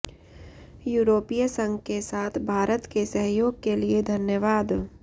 यूरोपीय संघ के साथ भारत के सहयोग के लिए धन्यवाद